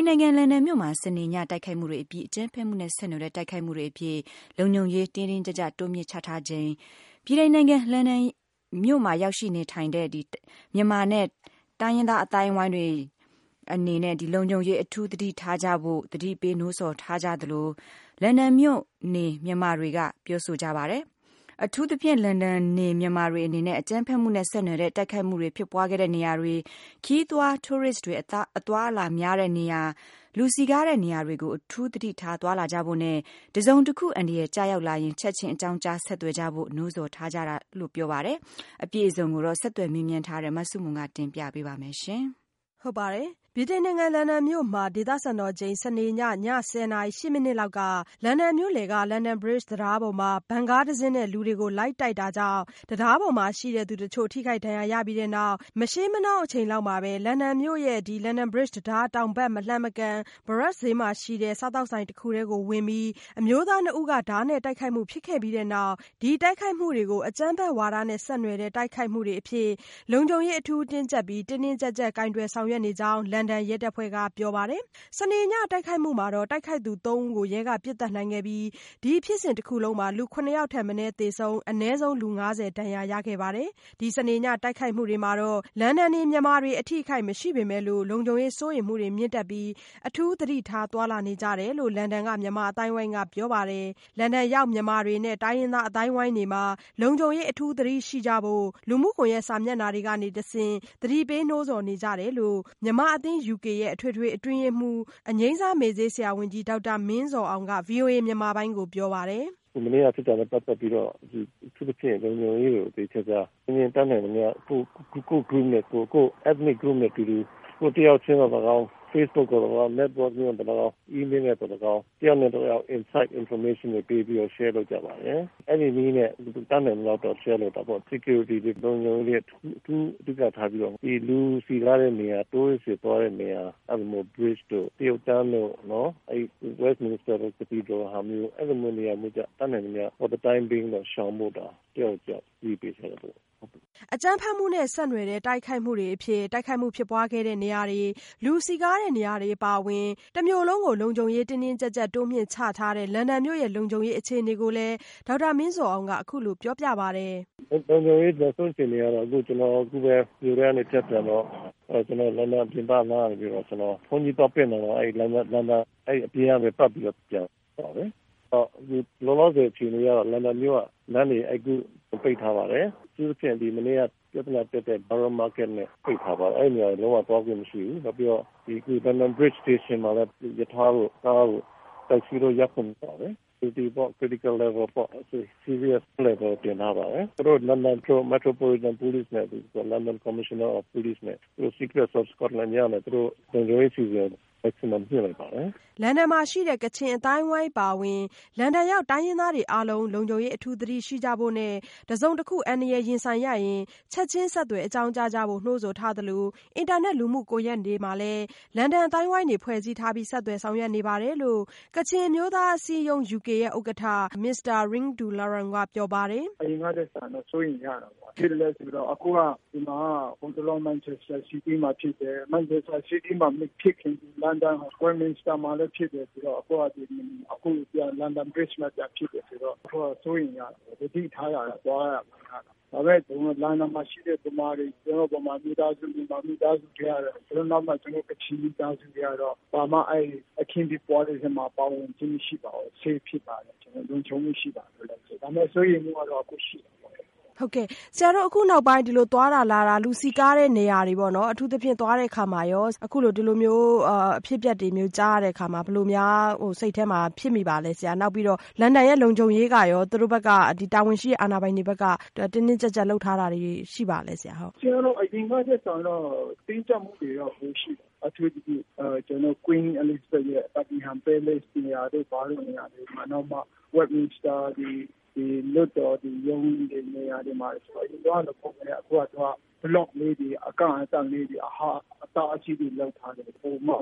န်နိုင်ငံ လန်ဒန်မြို့မှာ စနေည တိုက်ခိုက်မှုတွေအပြီး အကြမ်းဖက်မှုနဲ့ဆက်နွယ်တဲ့တိုက်ခိုက်မှုတွေအဖြစ် လုံခြုံရေး တင်းတင်းကျပ်ကျပ်တိုးမြှင့်ချထားချိန် ဗြိတိန်နိုင်ငံ လန်ဒန်ရောက်မြန်မာတွေနဲ့ တိုင်းရင်းသားအသိုင်းအဝိုင်းတွေမှာ လုံခြုံရေးအထူးသတိရှိကြဖို့ သတိပေးနိုးဆော်နေကြတယ်လို့ လန်ဒန်နေမြန်မာတွေကပြောပါတယ်။ အထူးသဖြင့် လန်ဒန်နေမြန်မာတွေအနေနဲ့ အကြမ်းဖက်မှုနဲ့နွယ်တဲ့ တိုက်ခိုက်မှုတွေဖြစ်ပွားခဲ့တဲ့နေရာတွေ၊ ခရီးသွားတိုးရစ်တွေ အသွားအလာများတဲ့နေရာ၊ လူစည်ကားတဲ့နေရာတွေကို အထူးသတိထားသွားလာကြဖို့နဲ့ တစုံတခုအန္တရာယ်ကျရောက်လာရင် ချက်ခြင်းအကြောင်းကြား ဆက်သွယ်ကြဖို့ နိုးဆော်ထားတယ်လို့ပြောပါတယ်။ အပြည့်အစုံဆက်သွယ်မေးမြန်းထားတဲ့ မဆုမွန် တင်ပြပေးပါမယ်။ ဗြိတိန်နိုင်ငံ လန်ဒန်မြို့မှာ ဒေသစံတော်ချိန် စနေနေ့ ည ၁၀ နာရီ ၈ မိနစ်လောက်က လန်ဒန်မြို့လည်က London Bridge တံတားပေါ်မှာ ဗန်ကားတစင်းနဲ့ လူတွေကို လိုက်တိုက်တာကြောင့် တံတားပေါ်မှာ ရှိတဲ့သူတချို့ ထိခိုက်ဒဏ်ရာရခဲ့ပြီးနောက် မရှေးမနှောင်း အချိန်လောက်မှာပဲ လန်ဒန်မြို့ London Bridge တံတား တောင်ဘက်မလှမ်းမကမ်း Borough ဈေးမှာရှိတဲ့ စားသောက်ဆိုင် တခုထဲဝင်ပြီး အမျိုးသား ၂ ဦးကို ဓားနဲ့တိုက်ခိုက်မှုဖြစ်ခဲ့ပြီးတဲ့နောက် ဒီတိုက်ခိုက်မှုတွေကို အကြမ်းဖက်ဝါဒနဲ့ ဆက်နွယ်တဲ့ တိုက်ခိုက်မှုအဖြစ် လုံခြုံရေး အထူးတင်းကျပ်ပြီး တင်းတင်းကျပ်ကျပ် ကိုင်တွယ်ဆောင်ရွက်နေကြောင်း လန်ဒန်ရဲတပ်ဖွဲ့က ပြောပါတယ်။ စနေညတိုက်ခိုက်မှုမှာ တိုက်ခိုက်ခဲ့သူသုံးဦးကို ရဲက ပစ်သတ်နိုင်ခဲ့ပြီး ဒီဖြစ်စဉ်တခုလုံးမှာ လူ ၇ယောက်ထက်မနည်းသေဆုံးပြီး အနည်းဆုံး လူ ၅၀ ဒဏ်ရာရခဲ့ပါတယ်။ ဒီစနေညတိုက်ခိုက်မှုတွေမှာတော့ လန်ဒန်နေမြန်မာတွေ အထိအခိုက်မရှိပေမဲ့လို့ လုံခြုံရေးစိုးရိမ်မှုတွေ မြင့်တက်ပြီး အထူးသတိထား သွားလာနေကြတယ်လို့ လန်ဒန်က မြန်မာအသိုင်းအဝိုင်းကပြောပါတယ်။ လန်ဒန်ရောက်မြန်မာတွေနဲ့ တိုင်းရင်းသားအသိုင်းအဝိုင်းတွေမှာ လုံခြုံရေးအထူးသတိရှိကြဖို့ လူမှုကွန်ရက်စာမျက်နှာတွေကတဆင့် သတိပေးနိုးဆော်နေ ကြတယ်လို့ မြန်မာအသင်း UK ရဲ့ အထွေထွေအတွင်းရေးမှူး အငြိမ်းစားမေ့ဆေးဆရာဝန်ကြီး ဒေါက်တာမင်းဇော်အောင်က ဗွီအိုအေမြန်မာပိုင်းကိုပြောပါတယ်။ “မနေ့ကဖြစ်တာနဲ့ ပတ်သက်ပြီးတော့ အထူးသဖြင့် လုံခြုံရေးကိုသေသေချာချာ အချင်းချင်း တတ်နိုင်သမျှ ကိုယ့် Group နဲ့ ကိုယ်၊ ကိုယ့် Ethnic group နဲ့ အတူတူ ကိုယ်တယောက်တည်းသော်လည်းကောင်း၊ Facebook နဲ့သော်လည်းကောင်း Network လုပ်ရင်းနဲ့သော်လည်းကောင်း ၊ Email နဲ့သော်လည်းကောင်း တယောက်နဲ့ တယောက် Insightinformation ပေးပြီးတော့ share လုပ်ကြပါတယ်။ အဲဒီနည်းနဲ့ တတ်နိုင်သလောက်တော့ လုပ်တာပေါ့ Security တခုလုံးကိုအထူးသတိထားပြီးတော့ လူစည်ကားတဲ့နေရာတွေမှာ Tourist တွေသွားတဲ့နေရာမှာ အထူးသဖြင့် Bridge တို့ တရုတ်တန်းတို့ Westminster တို့လိုနေရာမျိုးမှာ ရှောင်ဖို့ တယောက်ကိုတယောက်သတိပေးထားပါတယ်။” အကြမ်းဖက်မှုနဲ့ဆက်နွယ်တဲ့တိုက်ခိုက်မှုတွေအဖြစ် တိုက်ခိုက်မှုဖြစ်ပွားခဲ့တဲ့နေရာတွေ၊ လူစည်ကားတဲ့နေရာတွေအပါအဝင် တမြို့လုံးကို လုံခြုံရေး တင်းတင်းကျပ်ကျပ် တိုးမြှင့်ချထားတဲ့ လန်ဒန်မြို့ရဲ့ လုံခြုံရေးအခြေအနေကိုလည်း ဒေါက်တာမင်းဇော်အောင်က အခုလိုရှင်းပြပါတယ်။ “လုံခြုံရေး နောက်ဆုံးအခြေအနေကတော့ ကျနော်အခုပဲ မြို့ထဲကနေဖြတ်ပြန်လာတယ် ။ ကျနော်လန်ဒန် ပြင်ပနားကနေပြီးတော့ ဘုန်းကြီးသွားပင့်တယ်၊ လန်ဒန်အပြင်ကနေပြီးတော့ ပတ်ပြီးတော့ ပြန်လာတယ်။ လောလောဆယ်အခြေအနေကတော့ လန်ဒန်မြို့ကလမ်းတွေ အခုအကုန်ကိုပိတ်ထားပါတယ်။ အထူးသဖြင့် ပြဿနာတက်တဲ့ Borough ဈေးကိုပိတ်ထားပါတယ် အဲဒီနေရာတွေကို လုံးဝသွားခွင့်မရှိဘူး။ နောက်ပြီးတော့ London Bridge Station မှာလည်း ရထားတို့ ကားတို့တက်စီတွေကို သွားခွင့်ပိတ်ထားပါတယ်။ Critical level ပေါ့ serious level တင်ထားပါတယ်။ သူတို့ London Metropolitan police နဲ့ London Commissioner of Police နဲ့ secrets of Scotland yard တွေအနေနဲ့ လုံခြုံရေးအစီအစဉ်ကို မြှင့် လိုက်ပါတယ်။” လန်ဒန်မှာရှိတဲ့ ကချင်အသိုင်းအဝိုင်းအပါအဝင် လန်ဒန်ရောက်တိုင်းရင်းသားတွေ အားလုံး လုံခြုံရေးအထူးသတိရှိကြဖို့နဲ့ တစုံတခု အန္တရာယ်ရင်ဆိုင်ရရင် ချက်ခြင်းဆက်သွယ်အကြောင်းကြားကြဖို့ နိုးဆော်ထားစသလို အင်တာနက်လူမှုကွန်ရက်တွေမှာလည်း လန်ဒန်အသိုင်းအဝိုင်းတွေ ဖွဲ့စည်းထားပြီး ဆက်သွယ်ဆောင်ရွက်နေတယ်လို့ UK ကချင်အမျိုးသားအစည်းအရုံး ဥက္ကဋ္ဌ Mr Ring Du Lachyung က ပြောပါတယ်။ “အရင်ကထက်စာရင်တော စိုးရိမ်ကြတာပေါ့ ဘာဖြစ်လို့လဲဆိုတော့ အခုက ဒီမှာက ဟိုတလော မန်ချက်စတာ city မှာဖြစ်တယ်၊ အဲဒီမှာမဖြစ်ခင် လန်ဒန် Westminster မှာဖြစ်တယ်ဆိုတော့ နောက်အခုက London Bridge မှာပြန်ဖြစ်တယ် ဆိုတော့ စိုးရိမ်ကြတာပေါ့နော်၊ သတိထားကြတာပေါ့ သွားရ လာရတာ ။ ဒါပေမယ့် လန်ဒန်မှာရှိတဲ့ ကျနော်တို့ မြန်မာမိသားစုတွေနောက်၊ ကျနော်တို့ ကချင်မိသားစုတွေထဲမှာတော့ ဘာမှ အခင်းဖြစ်ပွားတဲ့အထဲမှာ ပါဝင်ခြင်း မရှိပါဘူး။ Safe ဖြစ်ပါတယ်။ လုံခြုံမှုရှိပါတယ်။ ဒါပေမယ့် စိုးရိမ်မှုကတော့ အခုအထိရှိတာပေါ့လေ။ မေး။ ။ ဆရာတို့အခုနောက်ပိုင်း သွားတာလာတာ လူစည်ကားတဲ့နေရာတွေမှာပေါ့နော် အထူးသဖြင့် သွားတဲ့အခါမှာရော အခုလို ဒီလိုမျိုးအဖြစ်အပျက်တွေကြားရတဲ့အခါမှာ ဘယ်လိုစိတ်ထဲမှာ ဖြစ်မိပါသလဲ။ နောက်ပြီးတော့ လန်ဒန်ရဲ့လုံခြုံရေးကရော သူတု့ိတာဝန်ရှိတဲ့သူတွေ အာဏာပိုင်တွေဘက်က တင်းတင်းကျပ်ကျပ် လုပ်ထားတာတွေ ရှိပါသလဲဆရာ ။ ဖြေ။ ။ပြောရရင်တော့ အရင်ကထက်စာရင်တော့ တင်းကျပ်မှုတွေ ပိုရှိတယ်။ အထူးသဖြင့် Queen Elizabeth ရဲ့ Buckingham နန်းတော်နေရာတို့ နောက်ပြီးတော့ Westminster တွေ လွှတ်တော်တွေ ရုံးတွေနေရာမှာ အရင်တုန်းက သွားရင်တော့ တမျိုး အခုတော့ Block လေးတွေ အကန့်အသတ်တွေ အတားအဆီးတွေလုပ်တယ် ပိုပြီးမှ ဘာ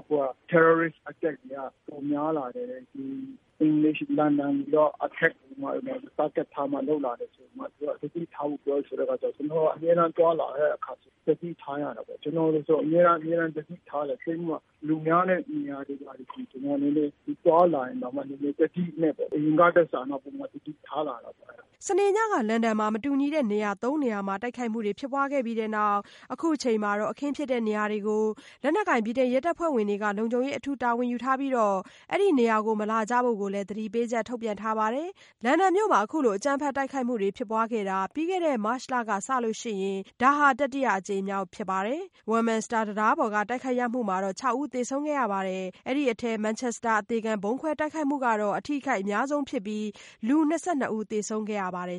ဖြစ်လို့လဲဆိုတော့ Terrorist attack တွေက ပိုများလာတယ်။ ဒီ Attack တွေက လန်ဒန်ကို Target ထားပြီးတော့ လုပ်လာတယ်ဆိုတော့ သတိထားဖို့ ပြောတဲ့အခါကျတော့ ကျနော်တို့က အမြဲတမ်းသွားလာတဲ့အခါမှာဆိုရင် သတိထားရတာပေါ့။ ကျနော်ဆိုရင် အမြဲတမ်းအမြဲတမ်း သတိထားတယ် အထူးသဖြင့် လူများတဲ့နေရာတွေမှာဆိုရင် သွားလာရင်တောင်မှ နည်းနည်း သတိနဲ့ပေါ့ အရင်ကထက်စာရင်တော့ ပိုမိုသတိထားတာပေါ့။” စနေညက လန်ဒန်မှာ မတူညီတဲ့နေရာ သုံးနေရာမှာ တိုက်ခိုက်မှုတွေဖြစ်ပွားခဲ့ပြီးတဲ့နောက် အခုချိန်မှာတော့ အခင်းဖြစ်တဲ့နေရာတွေကို လက်နက်ကိုင် ဗြိတိန် ရဲတပ်ဖွဲ့ဝင်တွေက လုံခြုံရေးအထူးတာဝန်ယူထားပြီး အဲဒီနေရာတွေကို မလာကြဖို့လည်း သတိပေးချက် ထုတ်ပြန်ထားပါတယ်။ လန်ဒန်မြို့မှာ အခုလို အကြမ်းဖက်တိုက်ခိုက်မှုတွေဖြစ်ပွားခဲ့တာ ပြီးခဲ့တဲ့ မတ်လက စလို့ဆိုရင် ဒါဟာ တတိယအကြိမ်မြောက်ဖြစ်ပါတယ်။ ဝက်မင်စတာတံတားပေါ်က တိုက်ခိုက်ခံရမှုမှာတော့ ၆ ဦးသေဆုံးခဲ့ရပါတယ်။ အဲ့ဒီထဲ မန်ချက်စတာအသေခံဗုံးခွဲတိုက်ခိုက်မှုကတော့ အထိအခိုက်အများဆုံးဖြစ်ပြီးလူ ၂၂ ဦး သေဆုံးခဲ့ရပါတယ်